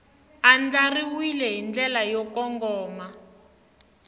andlariwile hi ndlela yo kongoma